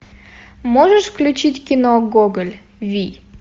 можешь включить кино гоголь вий